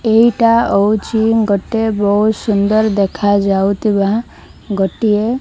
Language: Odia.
ଏଇଟା ହଉଛି ଗୋଟେ ବହୁତ ସୁନ୍ଦର ଦେଖାଯାଉଥିବା ଗୋଟିଏ --